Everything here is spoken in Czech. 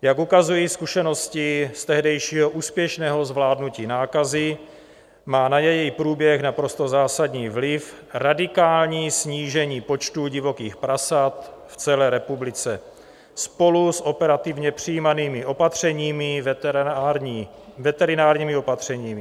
Jak ukazují zkušenosti z tehdejšího úspěšného zvládnutí nákazy, má na její průběh naprosto zásadní vliv radikální snížení počtu divokých prasat v celé republice spolu s operativně přijímanými veterinárními opatřeními.